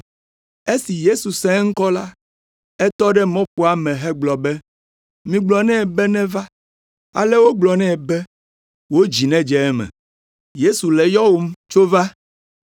Esi Yesu se eŋkɔ la, etɔ ɖe mɔƒoa me hegblɔ be, “Migblɔ nɛ be neva.” Ale wogblɔ nɛ be, “Wò dzi nedze eme. Yesu le yɔwòm, tso va.”